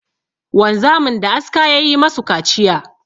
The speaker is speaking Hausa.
Wanzamin da aska ya yi ma su kaciya.